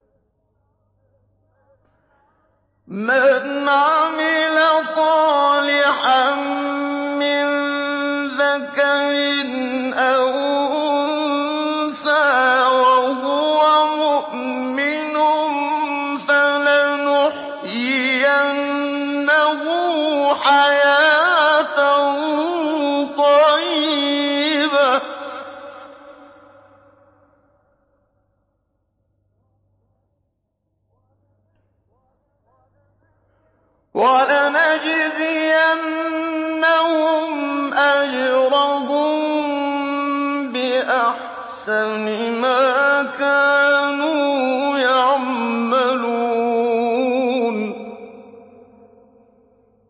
مَنْ عَمِلَ صَالِحًا مِّن ذَكَرٍ أَوْ أُنثَىٰ وَهُوَ مُؤْمِنٌ فَلَنُحْيِيَنَّهُ حَيَاةً طَيِّبَةً ۖ وَلَنَجْزِيَنَّهُمْ أَجْرَهُم بِأَحْسَنِ مَا كَانُوا يَعْمَلُونَ